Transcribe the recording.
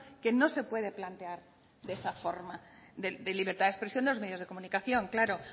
que no se puede plantear de esa forma de libertad de expresión de los medios de comunicación claro